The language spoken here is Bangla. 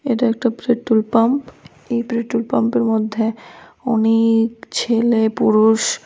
এটা একটা প্রেট্রোল পাম্প এই প্রেট্রোল পাম্পের মধ্যে অনেক ছেলে পুরুষ--